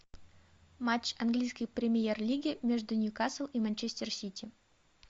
матч английской премьер лиги между ньюкасл и манчестер сити